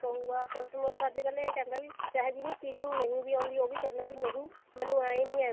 ਕਹੁਗਾ customer ਤਾਂ ਅੱਜਕਲ ਇਹ ਕਹਿੰਦਾ ਵੀ ਚਾਹੇ ਜਿਹਨੂੰ stitching ਨਹੀ ਵੀ ਆਉਂਦੀ ਉਹ ਵੀ ਕਹਿੰਦਾ ਬੀ ਨਹੀਂ ਮੈਨੂੰ ਐਵੇਂ ਨੀ ਐਵੇਂ ਕਰਕੇ